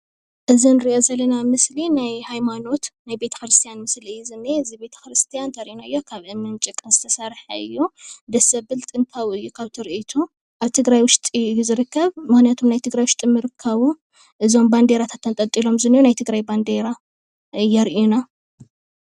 እዚ እንሪኦ ዘለና ምስሊ ናይ ሃይማኖት ናይ ቤተክርስትያን ምስሊ እዩ ዝንኤ እዚ ቤተክርስትያን እንተሪእናዮ ካብ እምንን ጭቃን ዝተሰርሐ እዩ። ደስ ዘብል ጥንታዊ እዩ ካብ ትሪእቱ ኣብ ትግራይ ዉሽጢ እዩ ዝርከብ ምኽንያቱ ኣብ ትግራይ ዉሽጢ ምርካቡ እዞም ባንዴራታት ተንጠልጢሎም ዝንሄዉ ናይ ትግራይ ባንዴራ የርእዩና።